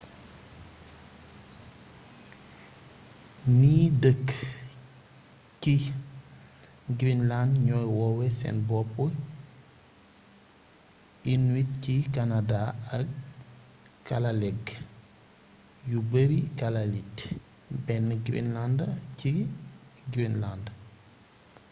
ni dëkk ci greenland ñooy woowé seen bopp inuit ci canada ak kalaalleq yu beeri kalaallit bénn greenlander ci greenland